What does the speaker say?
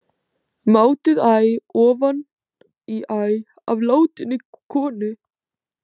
Mátuð æ ofan í æ af látinni konu.